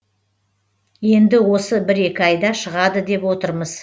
енді осы бір екі айда шығады деп отырмыз